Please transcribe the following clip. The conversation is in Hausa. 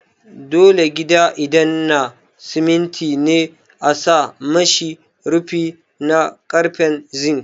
Dole gida idan na simiti ne a sa mishi rufi na karfen zink